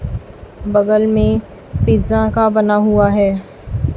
बगल में पिज्जा का बना हुआ है।